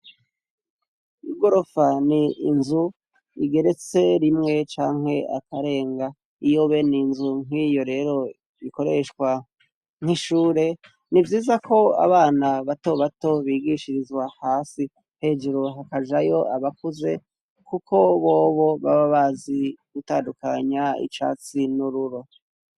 Igorofa ni inzu igeretse rimwe canke akarenga iyo bene inzu nk'iyo rero ikoreshwa nk'ishure nivyiza ko abana bato bato bigishirizwa hasi hejuru hakajayo abakuze kuko bobo baba bazi gutandukanya icatsi n'ururo.